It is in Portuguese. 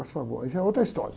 Mas, essa é outra história.